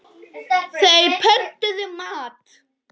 Þeir pöntuðu mat.